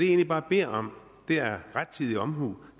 egentlig beder om er rettidig omhu